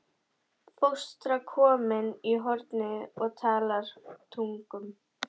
Fóstra komin í hornið og talar tungum.